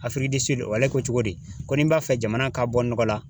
Afriki ale ko cogo di? Ko ni n b'a fɛ jamana ka bɔ nɔgɔ la